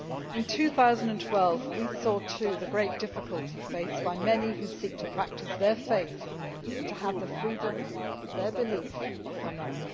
In 2012 we also saw the great difficulty faced by many who seek to practice their faith and have the freedom of their belief, or none.